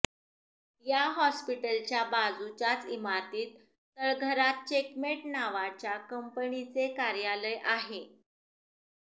या हॉस्पिटलच्या बाजूच्याच इमारतीत तळघरात चेकमेट नावाच्या कंपनीचे कार्यालय आहे